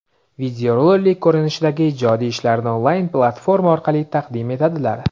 videorolik ko‘rinishidagi ijodiy ishlarini onlayn platforma orqali taqdim etadilar.